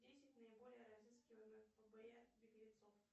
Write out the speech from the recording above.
десять наиболее разыскиваемых фбр беглецов